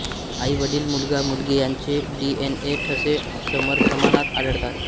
आई वडील मुलगा मुलगी यांचे डीएनए ठसे समप्रमाणात आढळतात